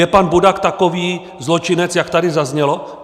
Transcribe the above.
Je pan Budak takový zločinec, jak tady zaznělo?